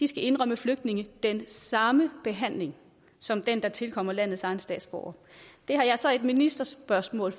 skal indrømme flygtningene den samme behandling som den der tilkommer landets egne statsborgere det har jeg så i ministerspørgsmål